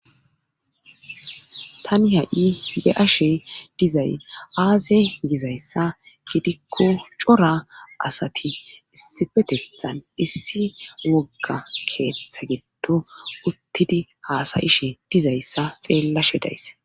tani ha'i be'ashe dizay aazey gizayssa gidikko cora asati issifetethan issi wogga keeththa giddo uttidi haasa'ishe dizayssa xeellashe days